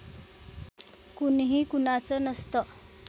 कुणीही कुणाचं नसतं!